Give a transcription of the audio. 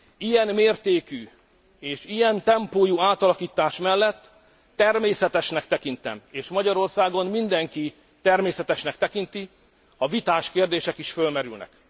Ilyen mértékű és ilyen tempójú átalakítás mellett természetesnek tekintem és Magyarországon mindenki természetesnek tekinti ha vitás kérdések is felmerülnek.